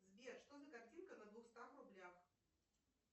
сбер что за картинка на двухстах рублях